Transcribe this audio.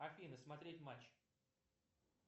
афина смотреть матч